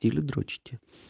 или дрочите